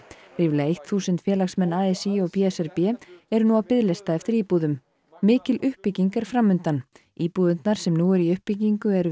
ríflega þúsund félagsmenn a s í og b s r b eru nú á biðlista eftir íbúðum mikil uppbygging er fram undan íbúðirnar sem eru nú í uppbyggingu eru